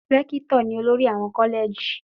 Rẹ́kítò ni olórí àwọn kọ́lẹ̀jì.